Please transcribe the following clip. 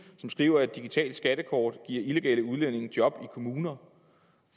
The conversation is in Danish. som skriver at et digitalt skattekort giver illegale udlændinge job i kommuner